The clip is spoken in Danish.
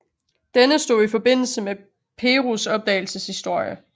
Denne stod i forbindelse med Perus opdagelseshistorie